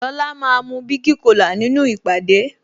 Lola máa mu bigi cola nínú ìpàdé